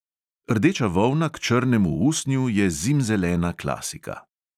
Rdeča volna k črnemu usnju je zimzelena klasika.